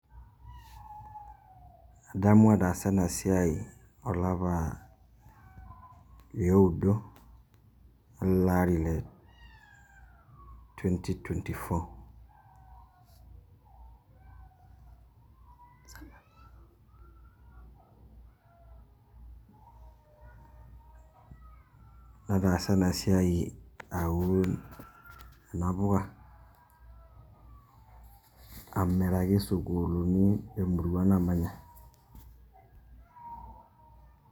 Adamu ataasa enasiai olapa lioudo, eleari le Twenty twenty-four. Nataasa enasiai aun kuna puka, amiraki sukuulini emerua namanya.